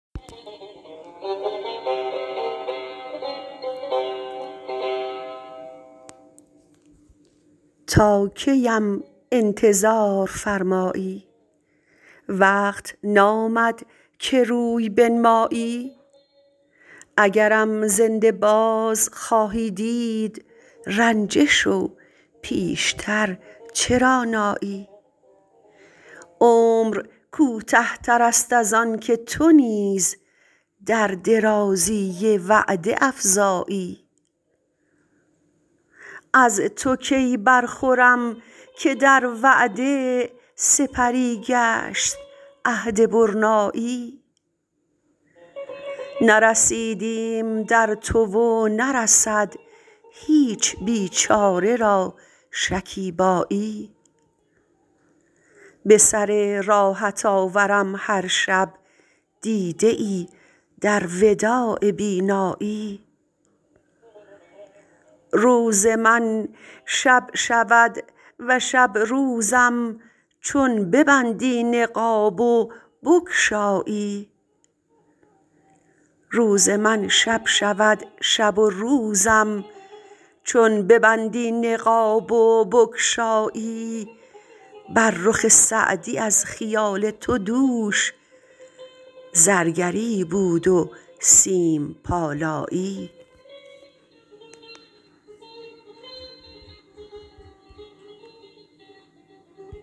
تا کی ام انتظار فرمایی وقت نامد که روی بنمایی اگرم زنده باز خواهی دید رنجه شو پیش تر چرا نایی عمر کوته تر است از آن که تو نیز در درازی وعده افزایی از تو کی برخورم که در وعده سپری گشت عهد برنایی نرسیدیم در تو و نرسد هیچ بیچاره را شکیبایی به سر راهت آورم هر شب دیده ای در وداع بینایی روز من شب شود و شب روزم چون ببندی نقاب و بگشایی بر رخ سعدی از خیال تو دوش زرگری بود و سیم پالایی